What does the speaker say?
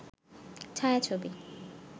ছায়া-ছবি